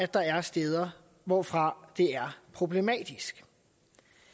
der er steder hvorfra det er problematisk